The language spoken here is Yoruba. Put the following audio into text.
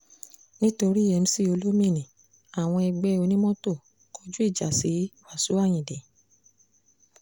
nítorí mc olomini àwọn ẹgbẹ́ onímọ́tò èkó kọjú ìjà sí wàsíù ayinde